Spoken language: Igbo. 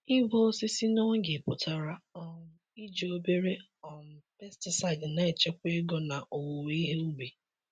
Ịgwọ osisi n'oge pụtara um iji obere um pesticide na-echekwa ego na owuwe ihe ubi.